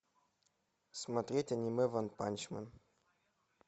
смотреть аниме ванпанчмен